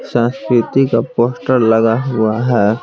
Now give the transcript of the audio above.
संस्कृति का पोस्टर लगा हुआ है।